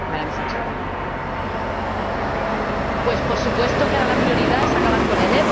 Pues por supuesto que ahora la prioridad es acabar con el ébola en los países en los que se está desarrollando.